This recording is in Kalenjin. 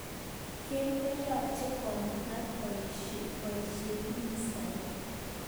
Ken koyoche kobutan boishetbministaek.